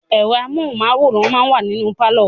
Ẹ̀rọ amóhùnmáwòrán máa wa ní inú pálọ̀.